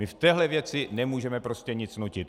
My v téhle věci nemůžeme prostě nic nutit.